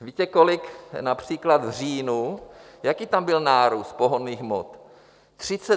Víte, kolik například v říjnu, jaký tam byl nárůst pohonných hmot?